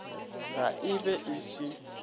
ge e be e se